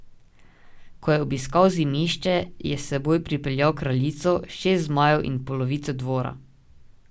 Ko je obiskal Zimišče, je s seboj pripeljal kraljico, šest zmajev in polovico dvora.